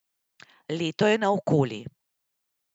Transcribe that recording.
Leto je naokoli.